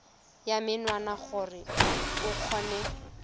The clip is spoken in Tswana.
ya menwana gore o kgone